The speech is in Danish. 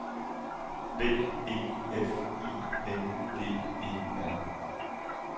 B E F I N D E R